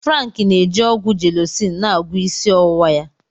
Frank n'eji ọgwụ Jelọcin na agwọọ isi ọwụwa ya.